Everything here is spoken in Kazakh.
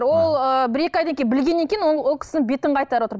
ол ыыы бір екі айдан кейін білгеннен кейін ол кісінің бетін қайтарып отыр